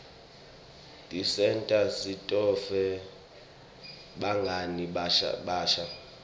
tisenta sitfole bangani labasha